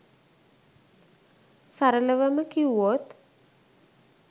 සරලවම කිව්වොත්